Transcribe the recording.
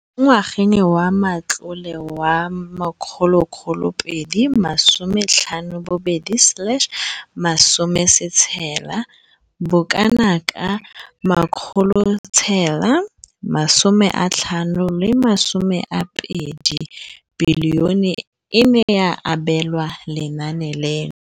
Mo ngwageng wa matlole wa 2015,16, bokanaka R5 703 bilione e ne ya abelwa lenaane leno.